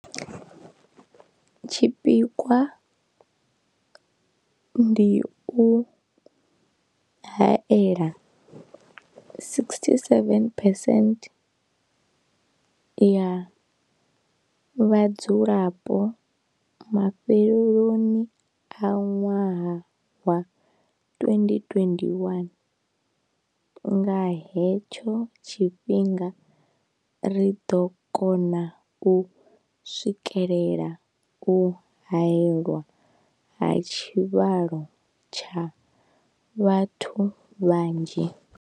Tshipikwa ndi u haela 67 percent ya vhadzulapo mafheloni a ṅwaha wa 2021. Nga he tsho tshifhinga ri ḓo kona u swikelela u haelwa ha tshivhalo tsha vhathu vhanzhi.